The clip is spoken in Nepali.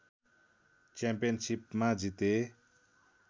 च्याम्पियनसिपमा जिते